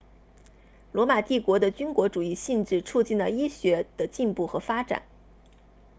罗马帝国的军国主义性质促进了医学的进步和发展